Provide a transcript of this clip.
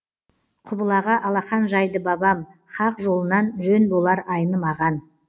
құбылаға алақан жайды бабам хақ жолынан жөн болар айнымаған